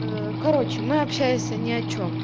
короче мы общаясь ни о чем